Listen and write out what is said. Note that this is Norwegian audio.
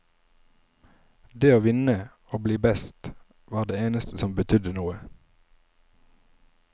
Det å vinne, å bli best, var det eneste som betydde noe.